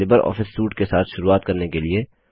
Libre Office suite के साथ शुरूआत करने के लिए